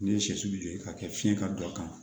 Ne ye sɛsi k'a kɛ fiɲɛ ka don a kan